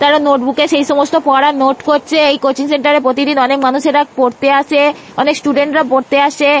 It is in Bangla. তারা নোটবুকে সেই সমস্ত পড়ার নোট করছে। এই কোচিং সেন্টার -এ প্রতিদিন অনেক মানুষেরা পড়তে আসে অনেক স্টুডেন্ট -রা পড়তে আসে।